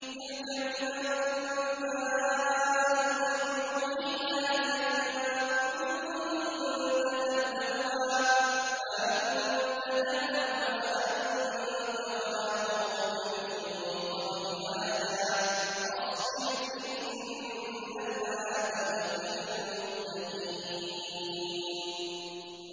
تِلْكَ مِنْ أَنبَاءِ الْغَيْبِ نُوحِيهَا إِلَيْكَ ۖ مَا كُنتَ تَعْلَمُهَا أَنتَ وَلَا قَوْمُكَ مِن قَبْلِ هَٰذَا ۖ فَاصْبِرْ ۖ إِنَّ الْعَاقِبَةَ لِلْمُتَّقِينَ